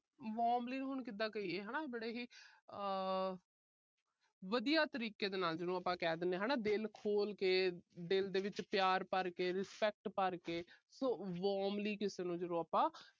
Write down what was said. warmly ਹੁਣ ਕਿਦਾਂ ਕਹੀਏ ਬੜੇ ਹੀ। ਆਹ ਵਧੀਆ ਤਰੀਕੇ ਨਾਲ ਜਿਹਨੂੰ ਆਪਾ ਕਹਿ ਦਿਨੇ ਆ। ਦਿਲ ਖੋਲ੍ਹ ਕੇ। ਦਿਲ ਦੇ ਵਿੱਚ ਪਿਆਰ ਭਰ ਕੇ। respect ਭਰਕੇ। so warmly ਕਿਸੇ ਨੂੰ ਜਦੋਂ ਆਪਾ